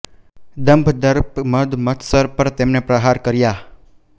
દંભ દર્પ મદ મત્સર પર તેમણે પ્રહાર કર્યા